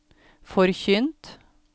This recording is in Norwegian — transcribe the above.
forkynt